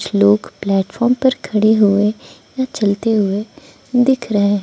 लोग प्लेटफॉर्म पर खड़े हुए या चलते हुए दिख रहे हैं।